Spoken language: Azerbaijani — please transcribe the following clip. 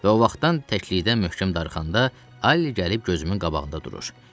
Və o vaxtdan təklikdən möhkəm darıxanda Alli gəlib gözümün qabağında durur.